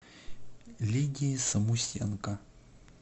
лидии самусенко